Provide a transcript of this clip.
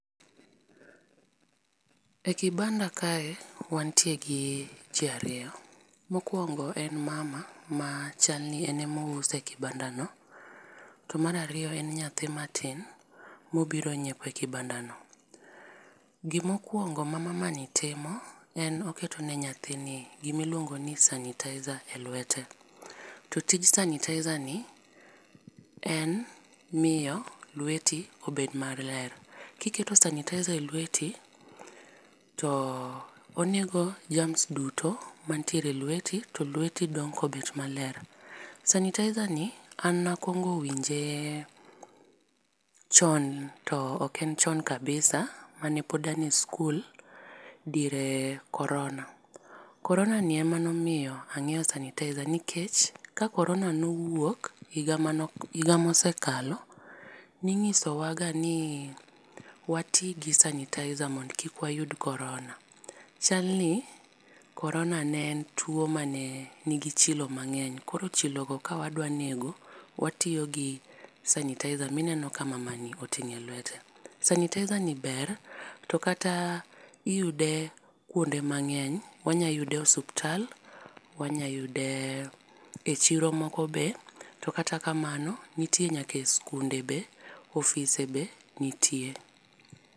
E kibanda kae wantie gi ji ariyo. Mokuongo en mama ma chal ni en ema ouse e kibanda no to mar ariyo en nyathi ma tin ma obiro ngiepo e kibanda no. Gi ma okuongo ma mama ni timo en oketo ne naythi gi ma iluongo sanitizer e lwete. To tij sanitizer ni en miyo lweti obed ma ler. Ki iketo sanitizer e lweti to onego germs duto mantiere e lweti to lweti dong ka obet ma ler. Sanitizer ni an ne akuongo winje chon to ok en chon kabisa ,mane pod an e skul diere korona. Korona ni ema ne omiyo angiewo sanitizer nikech ka korona ne owuok higa mane higa mane osekalo, ning'iso wa ga ni wati gi sanitizer mondo kik wayud korona. Chal ni korona ne en tuo ma ne ni gi chilo mangeny. Koro chilo go ka wadwa nego watiyo gi sanitizer mi ineno ka mama ni oting'o e lwete. Sanitizer ni ber to kata iyude kuonde mangeny wanya yude osiptal, wanya yude e chiro moko be, to kata kamano nitie nyaka e sikunde be, ofise be nitie.